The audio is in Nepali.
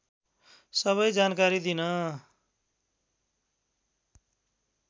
सबै जानकारी दिन